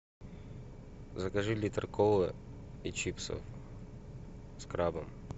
закажи литр колы и чипсы с крабом